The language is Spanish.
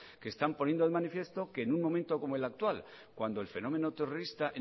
que están poniendo de manifiesto que en un momento como el actual cuando el fenómeno terrorista